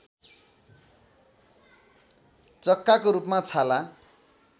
चक्काको रूपमा छाला